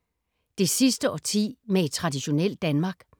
Det sidste årti med et traditionelt Danmark